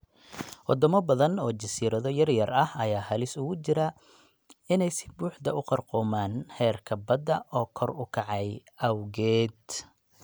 Waddamo badan oo jasiirado yaryar ah ayaa halis ugu jira inay si buuxda u qarqoomaan heerka badda oo kor u kacay awgeed.